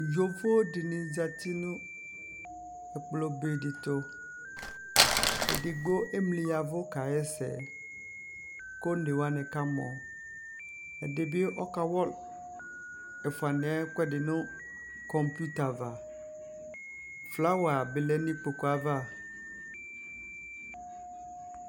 yɔvɔ dini zati nʋ ɛkplɔ bɛ di tʋ,ɛdigbɔ ɛmli yavʋ ka yɛsɛ kʋ ɔnɛ wanikamɔ, ɛdibi ɔka wa ɛƒʋɛ niɛ ɛkʋɛdi nʋ computer aɣa, flower bi lɛnʋ ikpɔkʋɛ aɣa